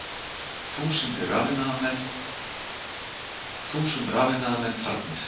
Þúsund rafiðnaðarmenn farnir